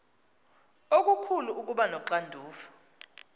okukhulu ukuba noxanduva